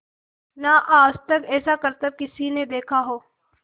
ना आज तक ऐसा करतब किसी ने देखा हो